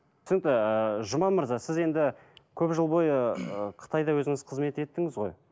түсінікті жұман мырза сіз енді көп жыл бойы ы қытайда өзіңіз қызмет еттіңіз ғой